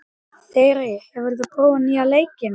Þyri, hefur þú prófað nýja leikinn?